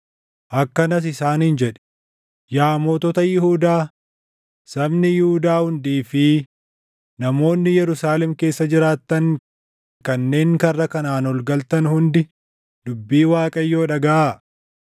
Akkanas isaaniin jedhi; ‘Yaa mootota Yihuudaa, sabni Yihuudaa hundii fi namoonni Yerusaalem keessa jiraattan kanneen karra kanaan ol galtan hundi dubbii Waaqayyoo dhagaʼaa.